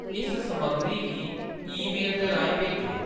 इस समग्गरी गी ईमेल दे राहें भेजो